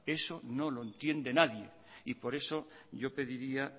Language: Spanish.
eso no lo entiende nadie y por eso yo pediría